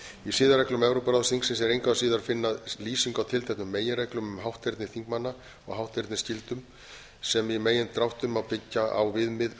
í siðareglum evrópuráðsþingsins er engu síður að finna lýsingu á tilteknum meginreglum um hátterni þingmanna og hátternisskyldum sem í megindráttum má byggja á viðmið um